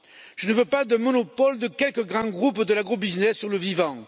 Je ne veux pas de monopole de quelques grands groupes de l'agro business sur le vivant.